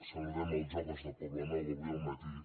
saludem els joves del poblenou d’avui al matí